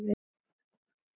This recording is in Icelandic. Gosinn þarf þá að falla.